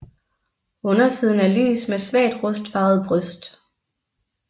Undersiden er lys med svagt rustfarvet bryst